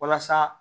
Walasa